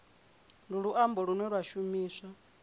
ndi luambo lune lwa shumiswa